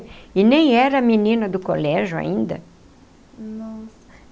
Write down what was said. E nem era menina do colégio ainda. Nossa.